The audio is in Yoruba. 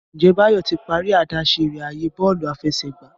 Njé Bayo tí parí idáṣẹ rẹ ààyè Bọ́ọ̀lù àfẹsẹ̀gbá